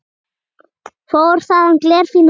Fór þaðan glerfín að versla.